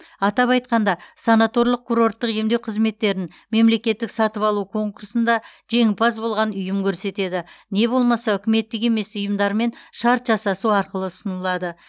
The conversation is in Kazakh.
атап айтқанда санаторлық курорттық емдеу қызметтерін мемлекеттік сатып алу конкурсында жеңімпаз болған ұйым көрсетеді не болмаса үкіметтік емес ұйымдармен шарт жасасу арқылы ұсынылады